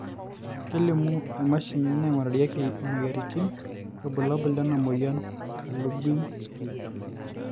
kelimu emashini naingurarieki imoyiaritin irbulabol lena moyian e Lubinsky